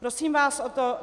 Prosím vás o to.